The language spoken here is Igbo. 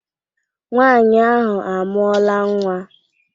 Nwanyi ahụ amụọla nwa